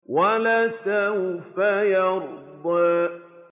وَلَسَوْفَ يَرْضَىٰ